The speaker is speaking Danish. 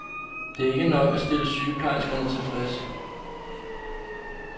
Det er ikke nok til at stille sygeplejerskerne tilfreds.